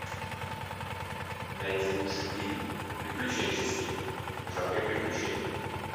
найди лучший фильм приключенческий в жанре приключений